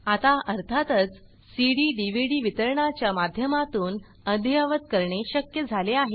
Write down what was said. आता अर्थातच cdडीव्हीडी वितरणाच्या माध्यमातून अद्ययावत करणे शक्य झाले आहे